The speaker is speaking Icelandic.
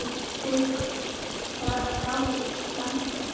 Haukur: Var það dálítill vandi?